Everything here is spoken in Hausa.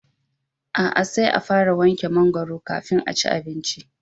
A'a, sai a fara wanke mangwaro kafin a ci abinci